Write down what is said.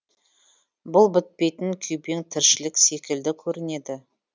бұл бітпейтін күйбең тіршілік секілді көрінеді